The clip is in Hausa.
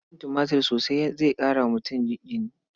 Cin tumatir sosai zai ƙara wa mutum jini.